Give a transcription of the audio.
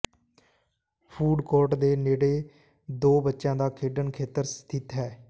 food court ਦੇ ਨੇੜੇ ਦੋ ਬੱਚਿਆਂ ਦਾ ਖੇਡਣ ਖੇਤਰ ਸਥਿਤ ਹੈ